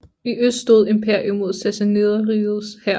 I øst stod imperiet mod Sassaniderrigets hær